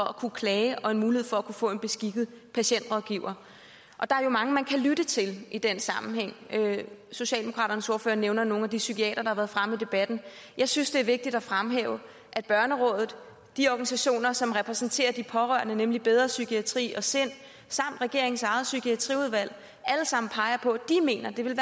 at kunne klage og en mulighed for at kunne få en beskikket patientrådgiver der er jo mange man kan lytte til i den sammenhæng socialdemokraternes ordfører nævner nogle af de psykiatere der har været fremme i debatten jeg synes det er vigtigt at fremhæve at børnerådet og de organisationer som repræsenterer de pårørende nemlig bedre psykiatri og sind samt regeringens eget psykiatriudvalg alle sammen peger på at de mener det ville